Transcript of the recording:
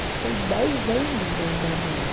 Passei dez anos andando lá.